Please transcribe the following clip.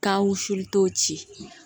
Ka wusuli tɔw ci